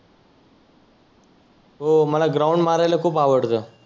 हो मला ग्राउंड मारायला खुप आवडतं.